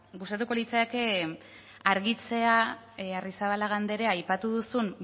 gustatuko litzaidake argitzea arrizabalaga andrea aipatu duzun